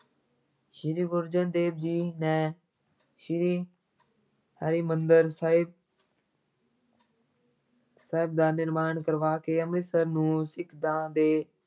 ਸ੍ਰੀ ਗੁਰੂ ਅਰਜਨ ਦੇਵ ਜੀ ਨੇ ਸ਼੍ਰੀ ਹਰਿਮੰਦਰ ਸਾਹਿਬ ਸਾਹਿਬ ਦਾ ਨਿਰਮਾਣ ਕਰਵਾ ਕੇ ਅੰਮ੍ਰਿਤਸਰ ਨੂੰ ਸਿੱਖਾਂ ਦੇ